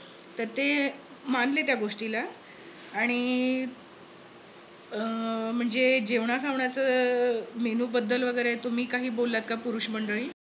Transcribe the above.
तर ते मानले त्या गोष्टीला आणि अं म्हणजे जेवणाखावनाच अह menu बद्दल वगैरे तुम्ही काही बोललात का? पुरुष मंडळी